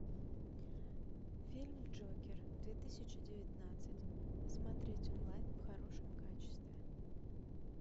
фильм джокер две тысячи девятнадцать смотреть онлайн в хорошем качестве